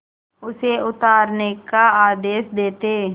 उसे उतारने का आदेश देते